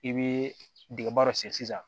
I bɛ dingɛba dɔ sen sisan